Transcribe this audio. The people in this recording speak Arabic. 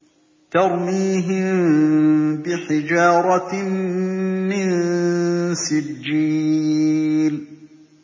تَرْمِيهِم بِحِجَارَةٍ مِّن سِجِّيلٍ